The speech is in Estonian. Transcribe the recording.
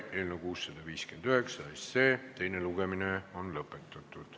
Eelnõu 659 teine lugemine on lõppenud.